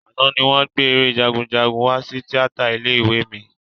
Àná ni wọ́n gbé eré Jagunjagun wá sí tíátà ilé ìwé mi